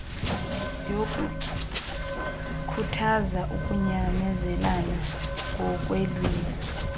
yokukhuthaza ukunyamezelana ngokweelwimi